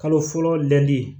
Kalo fɔlɔ lɛli